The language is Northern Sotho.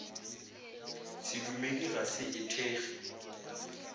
sedumedi ga se e thekge